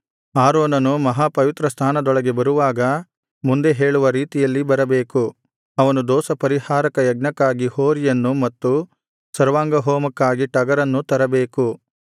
ಆರೋನನು ಮಹಾಪವಿತ್ರಸ್ಥಾನದೊಳಗೆ ಬರುವಾಗ ಮುಂದೆ ಹೇಳುವ ರೀತಿಯಲ್ಲಿ ಬರಬೇಕು ಅವನು ದೋಷಪರಿಹಾರಕ ಯಜ್ಞಕ್ಕಾಗಿ ಹೋರಿಯನ್ನು ಮತ್ತು ಸರ್ವಾಂಗಹೋಮಕ್ಕಾಗಿ ಟಗರನ್ನು ತರಬೇಕು